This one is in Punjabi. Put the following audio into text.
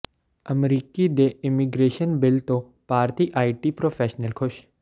ਅਮਰੀਕਾ ਦੇ ਇਮੀਗ੍ਰੇਸ਼ਨ ਬਿੱਲ ਤੋਂ ਭਾਰਤੀ ਆਈਟੀ ਪ੍ਰੋਫੈਸ਼ਨਲ ਖ਼ੁਸ਼